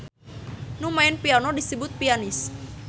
Nu maen piano disebut pianis.